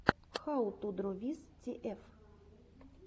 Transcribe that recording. хау ту дро виз тиэф